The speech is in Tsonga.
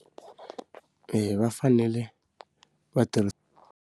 va fanele va tirhi.